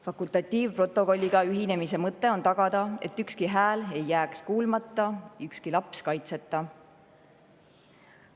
Fakultatiivprotokolliga ühinemise mõte on tagada, et ükski hääl ei jääks kuulmata ega ükski laps kaitseta.